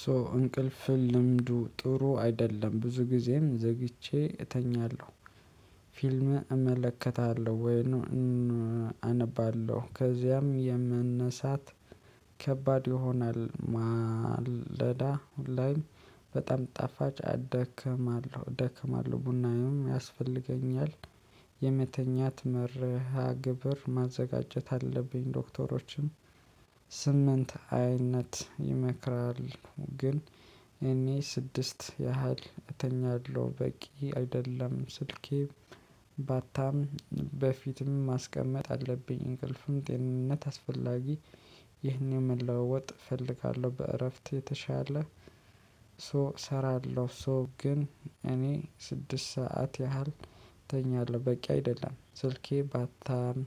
ሶ እንቅልፍን ልምዱ ጥሩ አይደለም ብዙ ጊዜም ዘግቼ እተኛለሁ። ፊልም እመለከታለሁ ወይም አነባለሁ ከዚያም የመነሳት ከባድ ይሆናል ማለዳ ላይ። በጣም ጣፋጭ አደከማለሁ ደክማለሁ ቡናዬም ያስፈልገኛል። የመተኛት መርሃ ግብር ማዘጋጀት አለብኝ። ዶክተሮችም ስምንት አይነት ይመክራል ግን። እኔ ስድስት ያህል እተኛለሁ በቂ አይደለም። ስልኬ ባታም በፊትም ማስቀመጥ አለብኝ። እንቅልፍም ጤንነት አስፈላጊ። ይህን መለወጥ እፈልጋለሁ። በእረፍት የተሻለ ሶ እሰራለሁ። ሶ ግን እኔ ስድስት ሰዓት ያህል እተኛለሁ በቂ አይደለም። ስልኬ ባታም